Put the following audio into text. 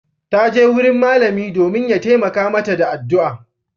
Ta je wurin malami domin ya taimaka mata da addu'a.